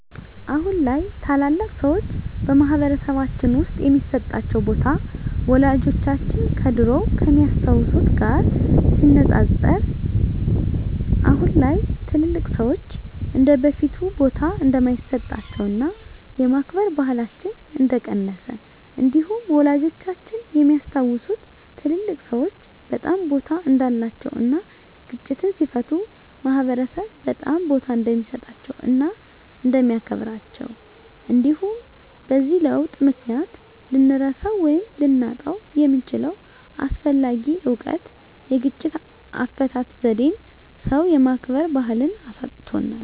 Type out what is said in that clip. አሁን ላይ ታላላቅ ሰዎች በማህበረሰልባችን ውስጥ የሚሰጣቸው ቦታ ወላጆቻችን ከድሮው ከሚያስታውት ጋር ሲነፃፀር አሁን ላይ ትልልቅ ሰዎች እንደበፊቱ ቦታ እንደማይሰጣቸውና የማክበር ባህላችን እንደቀነሰ እንዲሁም ወላጆቻችን የሚያስታውሱት ትልልቅ ሰዎች በጣም ቦታ እንዳላቸው እና ግጭትን ሲፈቱ ማህበረሰብ በጣም ቦታ እንደሚሰጣቸው እና እንደሚያከብራቸው እንዲሁም በዚህ ለውጥ ምክንያት ልንረሳው ወይም ልናጣው የምንችለው አስፈላጊ እውቀት የግጭት አፈታት ዜዴን ሰው የማክበር ባህልን አሳጥቶናል።